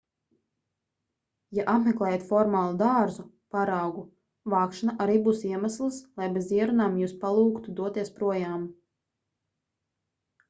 ja apmeklējat formālu dārzu paraugu vākšana arī būs iemesls lai bez ierunām jūs palūgtu doties projām